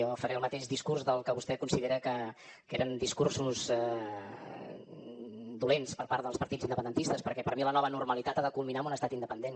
jo faré el mateix discurs del que vostè considera que eren discursos dolents per part dels partits independentistes perquè per mi la nova normalitat ha de culminar amb un estat independent